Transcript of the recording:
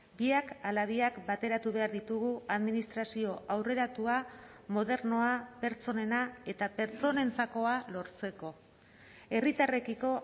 biak ala biak bateratu behar ditugu administrazio aurreratua modernoa pertsonena eta pertsonentzakoa lortzeko herritarrekiko